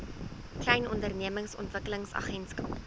klein ondernemings ontwikkelingsagentskap